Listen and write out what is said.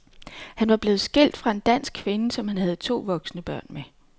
Han var blevet skilt fra en dansk kvinde, som han havde to voksne børn med.